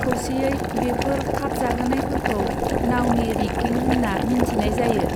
खौसेयै बेफोर खाबजाहोनायफोरखौ नाउनि रिग्गिं होन्ना मिन्थिनाय जायो।